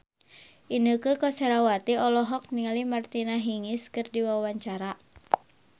Inneke Koesherawati olohok ningali Martina Hingis keur diwawancara